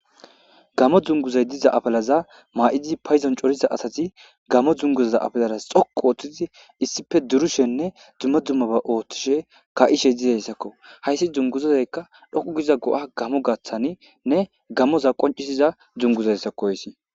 Gamo dunguzay diza afalaza maa7idi payzon coriza asati gamo dunguzaza afalaras xoku ooththizi issife durushenne dzumma dzummaba ooththishe ka7ishe dizayssakko hayssi dzunguzazayka dhoqu giza go7a gamo gaththaninne gamoza qoncisiza gizayssakko oysi